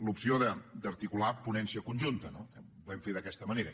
l’opció d’articular ponència conjunta ho vam fer d’aquesta manera